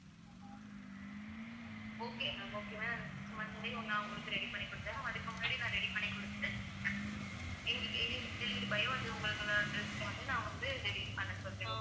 okay ma'am okay ma'am Monday நான் உங்களுக்கு ready பண்ணி கொடுத்திடுறேன் அதுக்கு முன்னாடி நான் ready பண்ணி கொடுத்துட்டு எங்~ எங்களுக்கு வந்து உங்களுக்கு வந்து நான் வந்து ready பண்ண சொல்றேன்